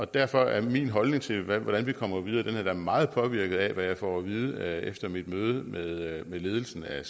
derfor er min holdning til hvordan vi kommer videre da meget påvirket af hvad jeg får at vide efter mit møde med ledelsen af